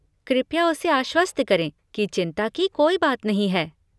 कृपया उसे आश्वस्त करें कि चिंता की कोई बात नहीं है।